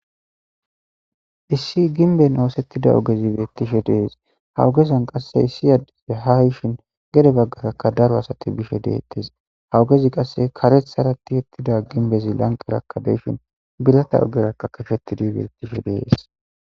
issi ginben oosettida ogezibeettishe dees hawugezan qasse issi yadife hayishin gede baggarakka daro asati bishe deettes hawugezi qasse karethhara ti ettida ginbezi lanqerakka deyshin bilata ogerakka kashetidibe ettishe dees